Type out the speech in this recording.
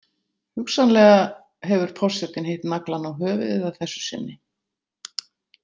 Hugsanlega hefur forsetinn hitt naglann á höfuðið að þessu sinni.